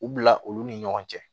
U bila olu ni ɲɔgɔn cɛ